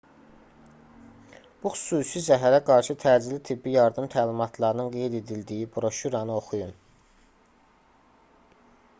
bu xüsusi zəhərə qarşı təcili tibbi yardım təlimatlarının qeyd edildiyi broşüranı oxuyun